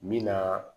Min na